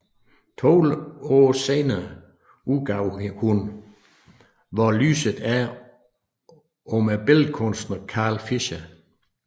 To år senere udgav hun Hvor lyset er om billedkunstneren Carl Fischer